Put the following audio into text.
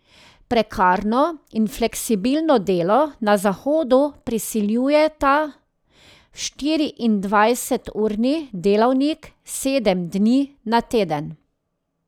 Prekarno in fleksibilno delo na zahodu prisiljujeta v štiriindvajseturni delavnik, sedem dni na teden.